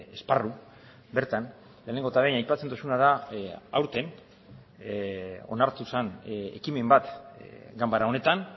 esparru bertan lehenengo eta behin aipatzen duzuna da aurten onartu zen ekimen bat ganbara honetan